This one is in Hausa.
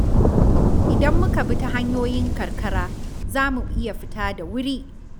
Idan muka bi ta hanyoyin karkara, za mu iya fita da wuri.